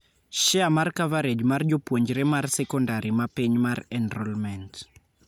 Share mar coverage mar jopuonjre mar secondary ma piny mar enrollment.